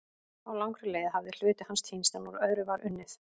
Á langri leið hafði hluti hans týnst en úr öðru var unnið.